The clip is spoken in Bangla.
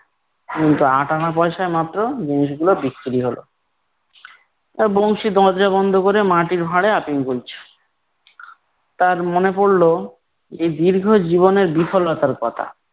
কিন্তু আট আনা পয়সায় মাত্র জিনিসগুলো বিক্রি হলো। আহ বংশী দরজা বন্ধ করে মাটির ভাঁড়ে আফিম গিলছে তার মনে পড়লো যে দীর্ঘ জীবনের বিফলতার কথা